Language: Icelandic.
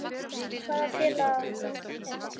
Hvaða félag er það?